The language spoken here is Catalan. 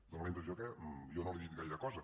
dóna la impressió que jo no li he dit gaire cosa